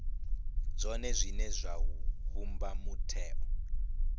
zwone zwine zwa vhumba mutheo